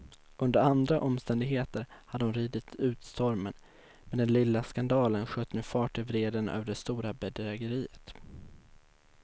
Under andra omständigheter hade hon ridit ut stormen, men den lilla skandalen sköt nu fart i vreden över det stora bedrägeriet.